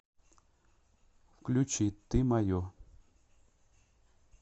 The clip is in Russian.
включи ты мое